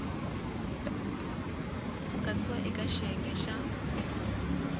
ku katsiwa eka xiyenge xa